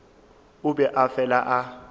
o be a fela a